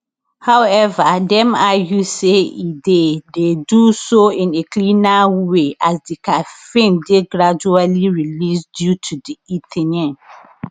however dem argue say e dey dey do so in a cleaner way as di caffeine dey gradually released due to di ltheanine